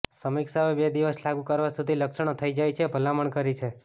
સમીક્ષાઓ બે દિવસ લાગુ કરવા સુધી લક્ષણો થઈ જાય છે ભલામણ કરી છે